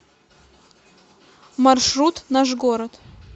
маршрут наш город